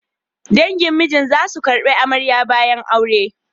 Dangin mijinta za su ƙarbi amarya bayan aure.